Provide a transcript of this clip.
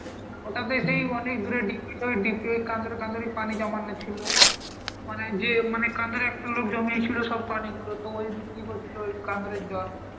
ওটাতে সেই অনেক দূরে কান্দরে কান্দরে পানি জমানো ছিল. ওখানে যেয়ে মানে কান্দরে একটা লোক জমিয়েছিল সব পানিগুলো, তো ওই বিক্রি করছিল ওই কান্দরের জল.